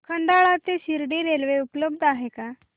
खंडाळा ते शिर्डी रेल्वे उपलब्ध आहे का